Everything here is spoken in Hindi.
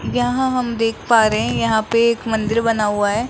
यहां हम देख पा रहे हैं यहां पे एक मंदिर बना हुआ है।